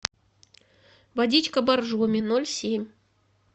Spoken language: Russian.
водичка боржоми ноль семь